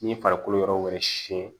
Ni farikolo yɔrɔ wɛrɛ siyɛn